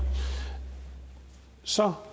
så